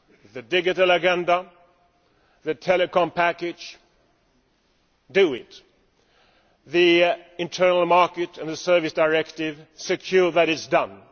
The digital agenda, the telecom package do it! The internal market and the service directive ensure that it is done!